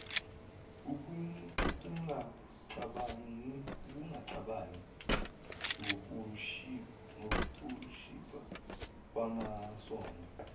ungacabangi ngokushibha kwamasondo